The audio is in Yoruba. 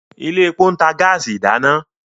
ilé èpo ntà gáàsì ìdáná.